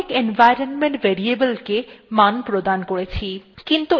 আমরা অনেক environment variable কে অনেক মান প্রদান করেছি